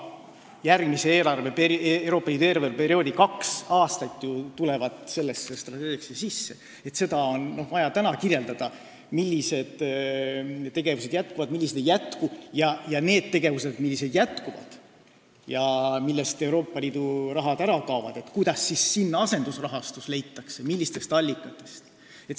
Järgmise Euroopa Liidu eelarveperioodi kaks aastat jäävad sellesse strateegiaperioodi sisse ja on vaja kirjeldada, millised tegevused jätkuvad ja millised ei jätku, ning kuidas, millistest allikatest leitakse asendusrahastus neile tegevustele, mis jätkuvad, kuigi Euroopa Liidu rahastus ära kaob.